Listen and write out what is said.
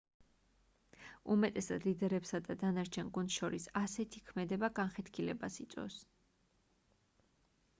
უმეტესად ლიდერებსა და დანარჩენ გუნდს შორის ასეთი ქმედება განხეთქილებას იწვევს